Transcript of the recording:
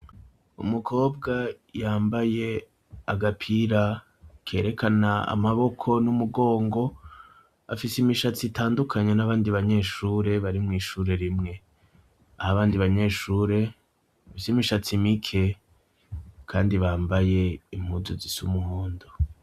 Umukobwa yambaye agapira kerekana amaboko n'umugongo, afise imishatsi itandukanye n'abandi banyeshure bari mw'ishure rimwe, aho abandi banyeshure bafise imishatsi mike, kandi bambaye impuzu zisa umuhondo.